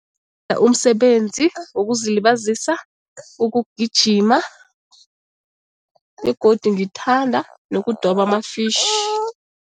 umsebenzi wokuzilibazisa, ukugijima begodu ngithanda nokudoba ama-fish.